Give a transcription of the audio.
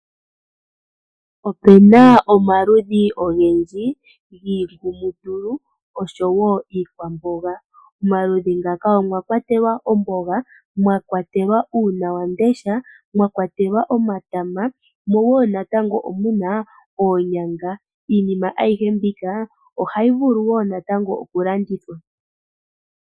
Opena omaludhi ogendji giingumutulu oshowo iikwamboga. Omaludhi ngaka omwakwatelwa oomboga, mwakwatelwa uunawamundesha, mwakwatelwa omatama mo woo natango omuna oonyanga. Iinima ayihe mbika oha yi vulu woo natango oku landithwa.